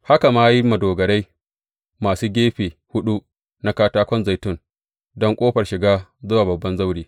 Haka ma ya yi madogarai masu gefe huɗu na katakon zaitun don ƙofar shiga zuwa babban zaure.